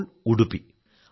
ഇപ്പോൾ ഉടുപ്പി